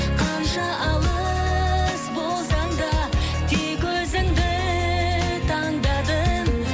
қанша алыс болсаң да тек өзіңді таңдадым